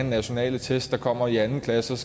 nationale test der kommer i anden klasse og